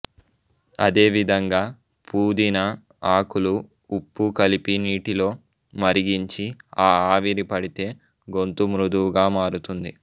అదే విధంగా పుదీనా ఆకులు ఉప్పు కలిపి నీటిలో మరిగించి ఆ ఆవిరి పడితే గొంతు మృదువుగా మారుతుంది